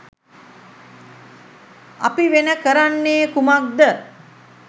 අපි වෙන කරන්නේ කුමක්ද?